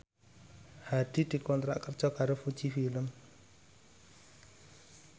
Hadi dikontrak kerja karo Fuji Film